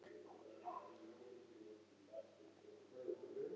Jarðskorpan er því ekki lengur í flotjafnvægi.